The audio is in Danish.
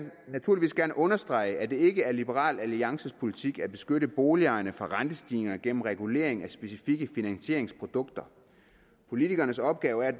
understrege at det ikke er liberal alliances politik at beskytte boligejerne for rentestigninger gennem regulering af specifikke finansieringsprodukter politikernes opgave er